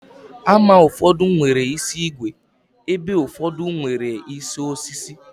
Hama ụfọdụ nwere isi ígwè, ebe ụfọdụ nwere isi osisi